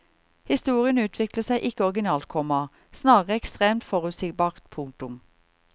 Historien utvikler seg ikke originalt, komma snarere ekstremt forutsigbart. punktum